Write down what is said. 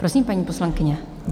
Prosím, paní poslankyně.